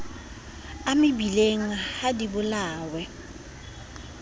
a mebileng ha di bolawe